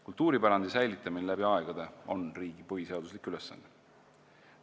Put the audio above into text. Kultuuripärandi säilitamine läbi aegade on riigi põhiseaduslik ülesanne.